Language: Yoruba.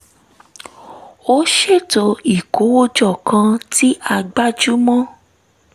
a ṣètò ìkówójọ kan tí a gbájú mọ́